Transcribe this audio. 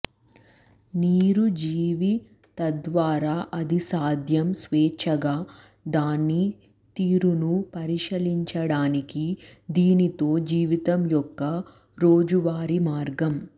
నీరు జీవి తద్వారా అది సాధ్యం స్వేచ్ఛగా దాని తీరును పరిశీలించడానికి దీనితో జీవితం యొక్క రోజువారీ మార్గం